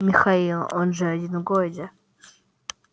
михаил он же один в городе